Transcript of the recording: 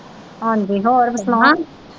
ਹਾਂਜੀ ਹੋਰ ਸੁਣਾਓ।